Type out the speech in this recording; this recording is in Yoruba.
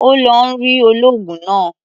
Ó ń lọ rí olóògùn náà.